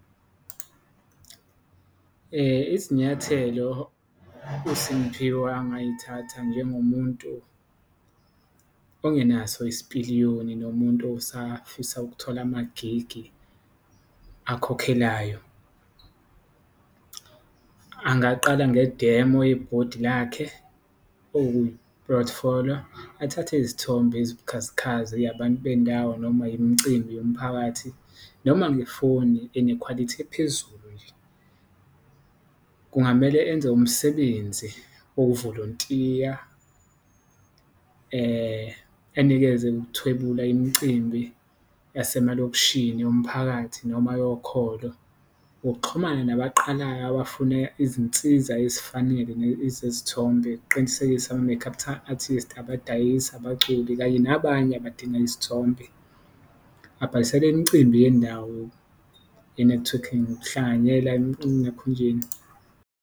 Izinyathelo uSimphiwe angayithatha njengomuntu ongenaso isipiliyoni nomuntu osafisa ukuthola amagigi akhokhelayo, angaqala ngedemo yebhodi lakhe okuyiphothifoliyo, athathe izithombe ezibukhazikhazi yabantu bendawo noma imicimbi yomphakathi, noma ngefoni enekhwalithi ephezulu nje. Kungamele enze umsebenzi wokuvolontiya enikeze ukuthwebula imicimbi yasemalokishini, yomphakathi noma yokholo, ngokuxhumana nabaqalayo abafuna izinsiza ezifanele ezezithombe, ukuqinisekisa ama-make up artist, abadayisi, abaculi kanye nabanye abadinga izithombe. Abhalisele imicimbi yendawo ye-networking nokuhlanganyela enakhunjeni.